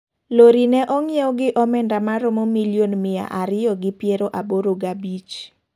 Lori ne ongiew gi omenda maromo milion mia ariyo gi piero aboro gabich .